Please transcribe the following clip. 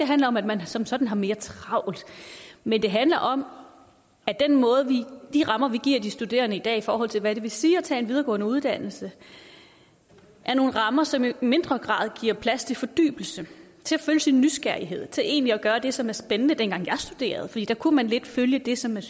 handler om at man som sådan har mere travlt men det handler om at de rammer vi giver de studerende i dag i forhold til hvad det vil sige at tage en videregående uddannelse er nogle rammer som i mindre grad giver plads til fordybelse til at følge sin nysgerrighed og til egentlig at gøre det som er spændende dengang jeg studerede kunne man lidt følge det som man